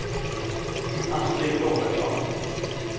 Astrid Robertsson